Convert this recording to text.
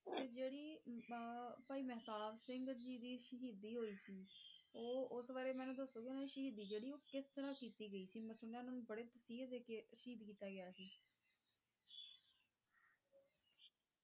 ਤੇ ਜਿਹੜੀ ਭਾਈ ਮਹਿਤਾਬ ਸਿੰਘ ਜੀ ਦੀ ਸ਼ਹੀਦੀ ਹੋਈ ਸੀ, ਉਹ ਉਸ ਬਾਰੇ ਮੈਨੂੰ ਦਸੋਗੇ ਓਹਨਾ ਦੀ ਸ਼ਹੀਦੀ ਜਿਹੜੀ ਉਹ ਕਿਸ ਤਰ੍ਹਾਂ ਕੀਤੀ ਗਈ ਸੀ, ਮੈਂ ਸੁਣਿਆ ਉਹਨਾਂ ਨੂੰ ਬੜੇ ਤਸੀਹੇ ਦੇ ਕੇ ਸ਼ਹੀਦ ਕੀਤਾ ਗਿਆ ਸੀ